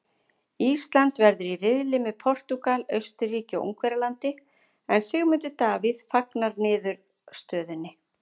Ísland verður í riðli með Portúgal, Austurríki og Ungverjalandi en Sigmundur Davíð fagnar niðurstöðunni.